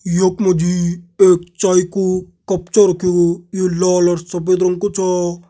यक मजी एक चाय कू कप चा रख्यु। यु लाल और सफ़ेद रंग कु छा।